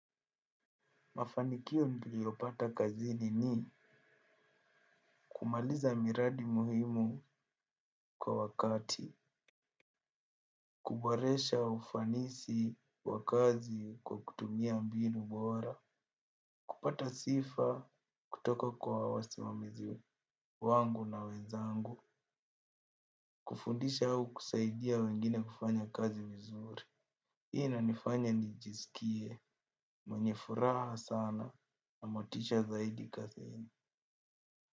Mafanikio niliopata kazini ni kumaliza miradi muhimu kwa wakati, kuboresha ufanisi wa kazi kwa kutumia mbinu bora, kupata sifa kutoka kwa wasimamizi wangu na wenzangu, kufundisha au kusaidia wengine kufanya kazi vizuri. Hii inanifanya nijisikie mwenye furaha sana na motisha zaidi kazini.